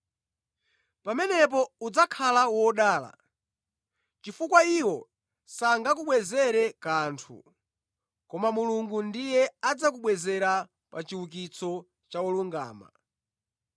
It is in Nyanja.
Pamenepo udzakhala wodala, chifukwa iwo sangakubwezere kanthu, koma Mulungu ndiye adzakubwezera pa chiukitso cha olungama.”